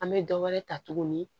An bɛ dɔ wɛrɛ ta tuguni